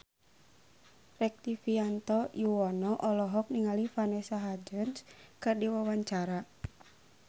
Rektivianto Yoewono olohok ningali Vanessa Hudgens keur diwawancara